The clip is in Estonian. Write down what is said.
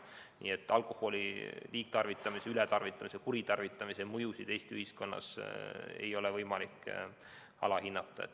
Nii et alkoholi liigtarvitamise, ületarvitamise, kuritarvitamise mõjusid Eesti ühiskonnas ei ole võimalik üle hinnata.